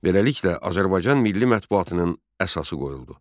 Beləliklə, Azərbaycan Milli Mətbuatının əsası qoyuldu.